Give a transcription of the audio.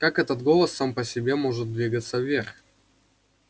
как этот голос сам по себе может двигаться вверх